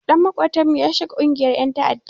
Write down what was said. Ɗan maƙotanmu ya shiga ƙungiyar ƴan ta'adda.